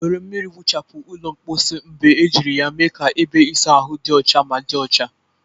Were mmiri nwuchapu ụlọ mposi mgbe ejiri ya mee ka ebe ịsa ahụ dị ọcha ma dị ọcha.